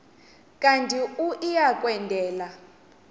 kanti uia kwendela